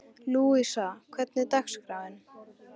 Lúísa, hvernig er dagskráin?